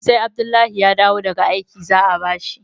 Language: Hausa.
sai Abdullahi ya dawo gaga aiki za a bashi